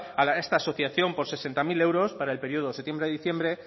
para esta asociación por sesenta mil euros para el periodo de septiembre a diciembre